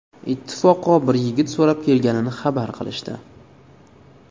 Ittifoqo bir yigit so‘rab kelganini xabar qilishdi.